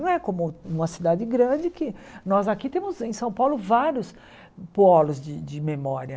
Não é como uma cidade grande, que nós aqui temos em São Paulo vários polos de de memória.